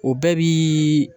O bɛɛ bi